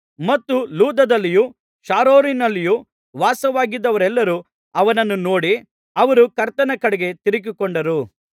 ಮತ್ತು ಲುದ್ದದಲ್ಲಿಯೂ ಶಾರೋನಿನಲ್ಲಿಯೂ ವಾಸವಾಗಿದ್ದವರೆಲ್ಲರು ಅವನನ್ನು ನೋಡಿ ಅವರು ಕರ್ತನ ಕಡೆಗೆ ತಿರುಗಿಕೊಂಡರು